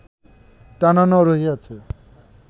টানানো রহিয়াছে